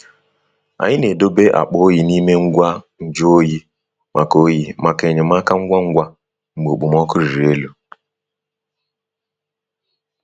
Anyị na-edobe akpa oyi n'ime ngwa nju oyi maka oyi maka enyemaka ngwa ngwa mgbe okpomọkụ riri elu.